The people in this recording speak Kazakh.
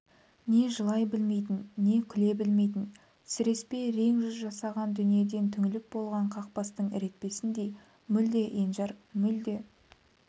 не жылай білмейтін не күле білмейтін сіреспе рең жүз жасаған дүниеден түңіліп болған қақбастың ірепетіндей мүлде енжар мүлде